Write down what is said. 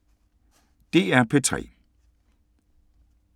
DR P3